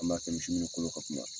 An b'a kɛ misiw munnu kolo ka kunba.